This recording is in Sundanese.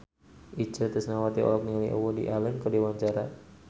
Itje Tresnawati olohok ningali Woody Allen keur diwawancara